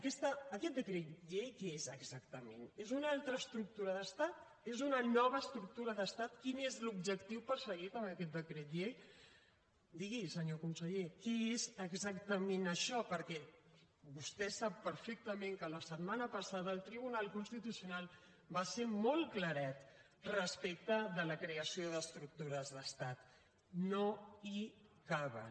aquest decret llei què és exactament és una altra estructura d’estat és una nova estructura d’estat quin és l’objectiu perseguit amb aquest decret llei digui’ns senyor conseller què és exactament això perquè vostè sap perfectament que la setmana passada el tribunal constitucional va ser molt claret respecte de la creació d’estructures d’estat no hi caben